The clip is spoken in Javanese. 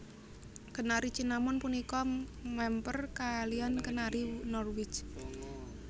Kenari Cinnamon punika mèmper kaliyan Kenari Norwich